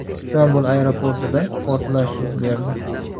Istanbul aeroportida portlash yuz berdi.